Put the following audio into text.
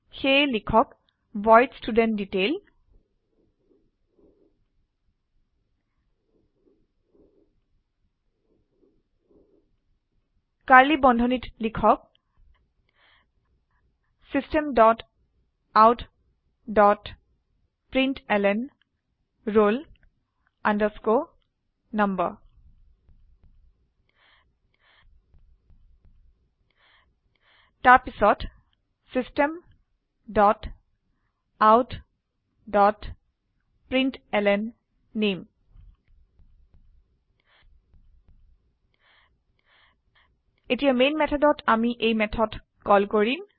সেয়ে লিখক void studentDetail curly বন্ধনীত লিখক system dot out dot println roll number তাৰপিছত system dot out dot println নামে এতিয়া মেন মেথডত আমি এই মেথড কল কৰিম